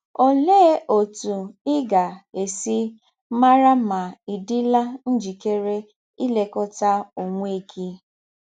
Ọlee ọtụ ị ga - esi mara ma ị̀ dịla njịkere ilekọta ọnwe gị?